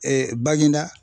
Baginda.